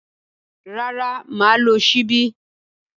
Rárá, mà á lo ṣíbí.